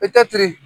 I tɛ tiri